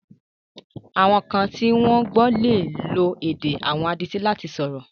Àwọn kan tí wọ́n gbọ́ lè lo èdè àwọn adití láti sọ̀rọ̀.